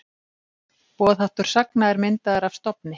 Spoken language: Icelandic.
Boðháttur sagna er myndaður af stofni.